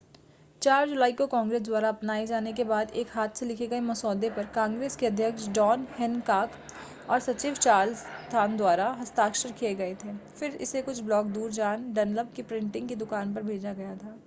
4 जुलाई को कांग्रेस द्वारा अपनाए जाने के बाद एक हाथ से लिखे गए मसौदे पर कांग्रेस के अध्यक्ष जॉन हैनकॉक और सचिव चार्ल्स थ्रॉन द्वारा हस्ताक्षर किए गए थे फिर इसे कुछ ब्लॉक दूर जॉन डनलप की प्रिंटिंग की दुकान पर भेजा गया था